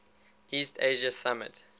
east asia summit